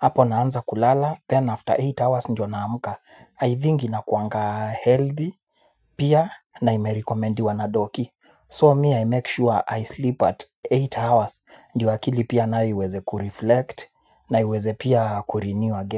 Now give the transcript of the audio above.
Apo naanza kulala then after eight hours ndiyo naamka I think inakuanga healthy pia na imerecomendiwa na doc so me i sure i sleep at eight hours ndio akili pia nayo iweze kureflect na iweze pia kurenew again.